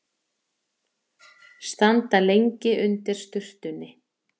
Standa lengi undir sturtunni.